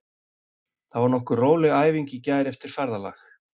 Það var nokkuð róleg æfing í gær eftir ferðalag.